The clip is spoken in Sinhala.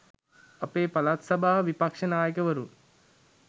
අපේ පළාත් සභා විපක්ෂ නායකවරුන්